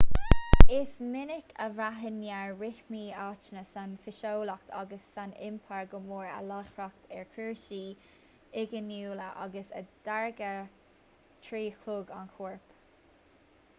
is minic a bhraitheann neart rithimí aitheanta san fhiseolaíocht agus san iompar go mór ar láithreacht ar chúrsaí inghiniúla agus a dtáirgeadh trí chlog an choirp